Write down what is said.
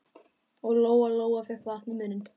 Og Lóa-Lóa fékk vatn í munninn.